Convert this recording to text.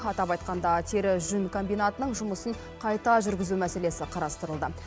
атап айтқанда тері жүн комбинатының жұмысын қайта жүргізу мәселесі қарастырылды